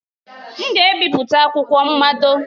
M ga-ebipụta akwụkwọ mmado.